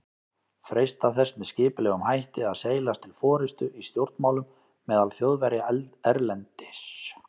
freistað þess með skipulegum hætti að seilast til forystu í stjórnmálum meðal Þjóðverja erlendis.